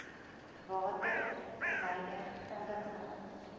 water verwyder ondergronds